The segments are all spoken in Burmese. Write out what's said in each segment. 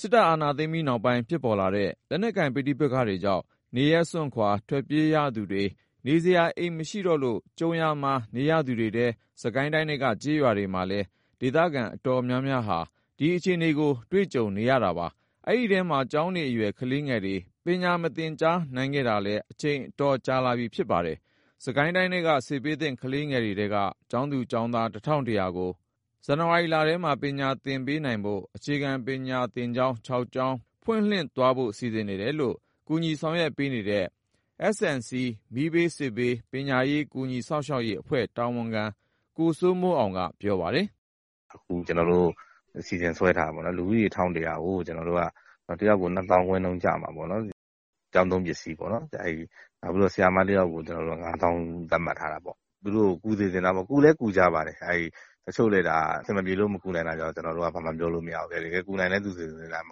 စစ်အာဏာသိမ်းပြီးနောက်ပိုင်း ဖြစ်ပေါ်လာတဲ့ လက်နက်ကိုင် ပဋိပက္ခတွေကြောင့် နေရပ်စွန့်ခွာ ထွက်ပြေးရသူတွေ၊ နေစရာ အိမ်မရှိတော့လို့ ကြုံရာမှာ နေရသူတွေထဲ စစ်ကိုင်းတိုင်းထဲက ကျေးရွာတွေမှာလည်း ဒေသခံအတော်များများဟာ ဒီအခြေအနေကို ကြုံတွေ့နေရတာပါ။ အဲဒီထဲမှာ ကျောင်းနေအရွယ် ကလေးငယ်တွေ ပညာမသင်ကြားနိုင်ခဲ့တာလည်း အချိန်တော်တော်ကြာခဲ့ပါတယ်။ စစ်ကိုင်းတိုင်းထဲက စစ်ဘေးသင့် ကလေးငယ်တွေထဲက ကျောင်းသား၊ ကျောင်းသူပေါင်း ၁,၁၀၀ ကို အခုလ ဇန်နဝါရီထဲမှာ ပညာသင်ပေးနိုင်ဖို့ အခြေခံပညာသင်ကျောင်း ၆ ကျောင်း ဖွင့်လှစ်သွားဖို့ စီစဉ်နေတယ်လို့ ကူညီဆောင်ရွက်ပေးနေတဲ့ S&C မီးဘေး၊ စစ်ဘေး၊ ပညာရေး ကူညီစောင့်ရှောက်ရေးအဖွဲ့ တာဝန်ခံ ကိုစိုးမိုးအောင်က ပြောပါတယ်။ "အခု ကျနော်တို့ အစီအစဉ်ဆွဲထားတာ ကျောင်းသားဦးရေ ၁,၁၀၀ ကို တယောက်ကို ၂ သောင်းခွဲနှုန်း ကျမှာပေါ့နော်။ ကျောင်းသုံးပစ္စည်းတွေ အတွက်ရောပေါ့။ နောက်ပြီးတော့ ဆရာမတယောက်ကို ကျနော်တို့က ၅ သောင်းနှုန်း သတ်မှတ်ထားတာပေါ့။ သူတို့ကို ကူညီစေချင်တာပေါ့နော်။ ကူလည်း ကူညီကြပါတယ်။ တချို့တွေကျတော့ အဆင်မပြေလို့ မကူနိုင်တာကိုတော့ ကျနော်တို့က ဘာမှပြောလို့ မရဘူးလေ။ တကယ်နိုင်တဲ့သူတွေဆို မ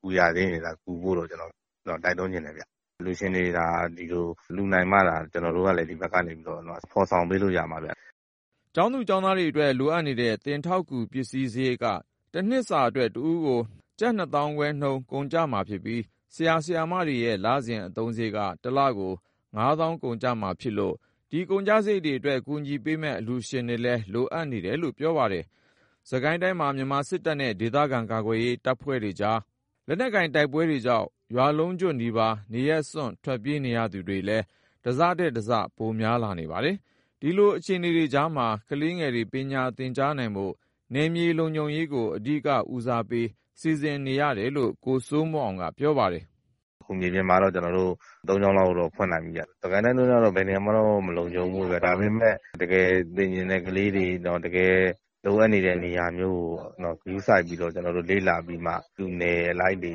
ကူရသေးရင်တော့ ကူညီဖို့ တိုက်တွန်းချင်တယ်ဗျ။ အလှူရှင်တွေ ဒီလိုလှူနိုင်မှသာ ကျနော်တို့ကလည်း ဒီဘက်ကနေပြီးတော့ ဖော်ဆောင်ပေးလို့ ရမှာဗျ။" ကျောင်းသား၊ ကျောင်းသူတွေအတွက် လိုအပ်တဲ့ သင်ထောက်ကူပစ္စည်းစရိတ်က တနှစ်စာအတွက် တဦးကို ၂ သောင်းခွဲနှုန်း ကုန်ကျမှာဖြစ်ပြီး၊ ဆရာ၊ ဆရာမတွေရဲ့ လစဉ်အသုံးစရိတ်က ၁ လကို ၅ သောင်းကျမှာဖြစ်လို့ ဒီကုန်ကျစရိတ်တွေအတွက် ကူညီပေးမယ့် အလှူရှင်တွေလည်း လိုအပ်နေတယ်လို့ ပြောပါတယ်။ စစ်ကိုင်းတိုင်းမှာ မြန်မာစစ်တပ်နဲ့ ဒေသခံကာကွယ်ရေး အဖွဲ့တွေကြားက လက်နက်ကိုင်တိုက်ပွဲတွေကြောင့် ရွာလုံးကျွတ်နီးပါး နေရပ်စွန့် ထွက်ပြေးနေရသူတွေလည်း တစထက်တစ ပိုများလာနေပါတယ်။ ဒီလိုအခြေအနေတွေကြားမှာ ကလေးငယ်တွေ ပညာသင်ကြားနိုင်ဖို့ နယ်မြေလုံခြုံရေးကို အဓိကဦးစားပေး စီစဉ်ထားတယ်လို့ ကိုစိုးမိုးအောင်က ပြောပါတယ်။ "အခု မြေပြင်မှာတော့ ကျနော်တို့ ၃ ကျောင်းလောက်တော့ ဖွင့်နိုင်ပြီဗျ။ စစ်ကိုင်းတိုင်းကတော့ ဘယ်နေရာမှတော့ မလုံခြုံဘူးပေါ့ဗျာ။ ဒါပေမဲ့ တကယ်စာသင်ချင်တဲ့ ကလေးတွေ၊ တကယ်လိုအပ်နေတဲ့ နေရာမျိုးကို ဂရုစိုက်ပြီး ကျနော်တို့ လေ့လာပြီးမှ သူ့အနယ်လိုက်တွေ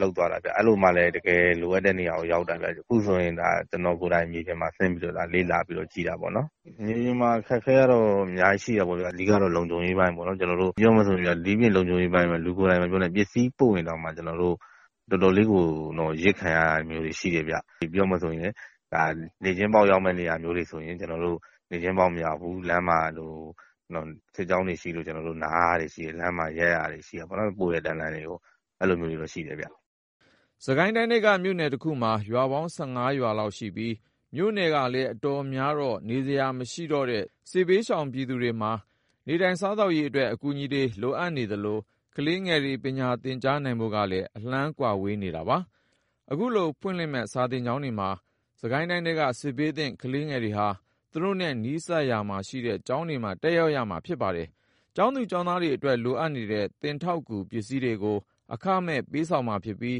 လုပ်သွားတာဗျ။ အဲလိုမှလည်း တကယ်လိုအပ်တဲ့နေရာကို ရောက်တာဗျ။ အခုဆိုရင် ကျနော်ကိုယ်တိုင် မြေပြင်မှာဆင်းပြီးတော့ လေ့လာပြီးတော့ ကြည့်တာပေါ့နော်။ မြေပြင်မှာ အခက်အခဲကတော့ အများကြီးရှိတာပေါ့ဗျာ။ အဓိကတော့ လုံခြုံရေးပိုင်းပေါ့နော်။ ပြောရမယ်ဆိုရင်ဗျာ ဒိပြင့်လုံခြုံရေးပိုင်း မပြောနဲ့၊ ပစ္စည်းပို့ရင်တောင်မှ ကျနော်တို့တွေ တော်တော်လေးကို အရစ်ခံရတာမျိုးတွေ ရှိတယ်ဗျ။ နေ့ချင်းပေါက်ရောက်မယ့် နေရာမျိုးတွေဆို ကျနော်တို့ နေ့ချင်းပေါက် မရောက်ဘူး။ လမ်းမှာ စစ်ကြောင်းတွေရှိလို့ ကျနော်တို့ နားရတာမျိုးတွေရှိတယ်။ ပို့တဲ့တန်းလန်းကြီးကို ရပ်ရတာမျိုးတွေ ရှိတယ်ဗျ။" စစ်ကိုင်းတိုင်းထဲက မြို့နယ်တခုမှာ ရွာပေါင်း ၁၅ ရွာလောက်ရှိပြီး၊ မြို့နယ်ကလည်း အတော်များတော့ နေစရာမရှိတဲ့ စစ်ဘေးရှောင်သူတွေမှာ နေထိုင်စားသောက်ရေးအတွက် အကူအညီတွေလိုအပ်နေသလို ကလေးငယ်တွေ ပညာသင်ကြားနိုင်ဖို့ကလည်း အလှမ်းဝေး နေတာပါ။ အခုဖွင့်လှစ်မယ့် စာသင်ကျောင်းတွေမှာ စစ်ကိုင်းတိုင်းထဲက စစ်ဘေးသင့် ကလေးငယ်တွေဟာ သူတို့နဲ့နီးစပ်ရာမှာရှိတဲ့ ကျောင်းတွေမှာ တက်ရောက်ရမှာ ဖြစ်ပါတယ်။ ကျောင်းသား၊ ကျောင်းသူတွေအတွက် လိုအပ်တဲ့သင်ထောက်ကူ ပစ္စည်းတွေကို အခမဲ့ပေးဆောင်မှာဖြစ်ပြီး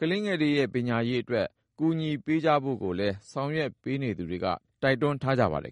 ကလေးငယ်တွေရဲ့ ပညာရေးအတွက် ကူညီပေးကြဖို့ကိုလည်း ဆောင်ရွက်ပေးနေသူတွေက တိုက်တွန်းထားပါတယ်